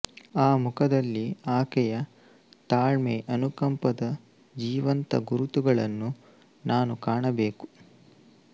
ಆ ಮುಖದಲ್ಲಿ ಆಕೆಯ ತಾಳ್ಮೆ ಅನುಕಂಪದ ಜೀವಂತ ಗುರುತುಗಳನ್ನು ನಾನು ಕಾಣಬೇಕು